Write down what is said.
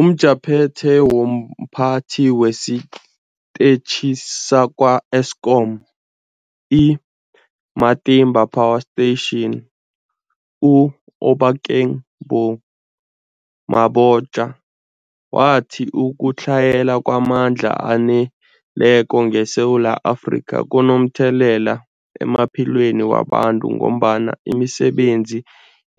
UmJaphethe womPhathi wesiTetjhi sakwa-Eskom i-Matimba Power Station u-Obakeng Mabotja wathi ukutlhayela kwamandla aneleko ngeSewula Afrika kunomthelela emaphilweni wabantu ngombana imisebenzi